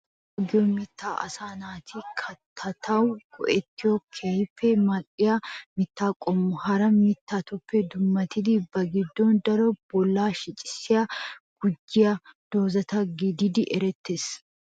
Abkaatuwaa giyoo mittay asaa naati kaattatetawu go'etiyoo keehiippe mal'iyaa mitta qommo. Hara mittatuppe dummatidi ba gidon daro bolla shicaa gujjiyaa dooza gididi eretees.